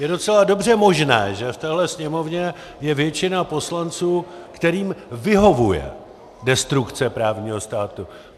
Je docela dobře možné, že v téhle Sněmovně je většina poslanců, kterým vyhovuje destrukce právního státu.